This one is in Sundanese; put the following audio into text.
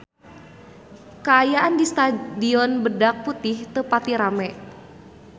Kaayaan di Stadion Badak Putih teu pati rame